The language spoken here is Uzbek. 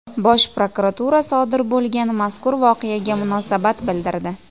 Bosh prokuratura sodir bo‘lgan mazkur voqeaga munosabat bildirdi.